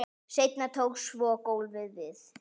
Seinna tók svo golfið við.